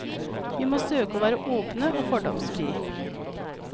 Vi må søke å være åpne og fordomsfri.